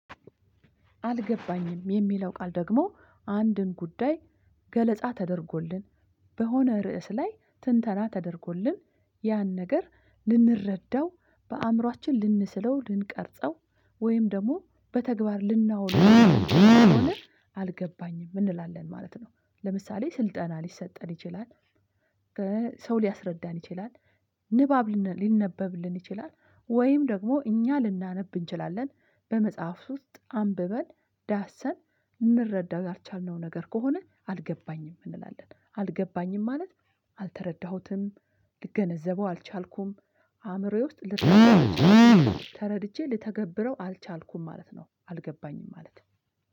አልገባኝም የሚለው ቃል ደግሞ አንድን ጉዳይ ገለጻ ተደርጎልን በሆነ ርዕስ ላይ ትንተና ተደርጎልን ያን ነገር ልንረዳው በአእምሮአችን ልንስለው ልንቀርጸው ወይም ደግሞ በተግባር ልናውን። አልገባኝም እንላለን ማለት ነው። ለምሳሌ ስልጠና ሊሰጠን ይችላል። ሰው ሊያስረዳን ይችላል። ንባብ ሊነበብልን ይችላል ወይም ደግሞ እኛ ልናነብ እንችላለን። በመጽሐፍ ውስጥ አንብበን ዳሰን ልንረዳ ያልቻልነው ነገር ከሆነ አልገባኝም እንላለን። አልገባኝም ማለት። አልተረዳሁትም ልገነዘበው አልቻልኩም። አእምሮዬ ውስጥ ልረዳው አልቻልኩም ተረድቼ ልተገብረው አልቻልኩም ማለት ነው። አልገባኝም ማለት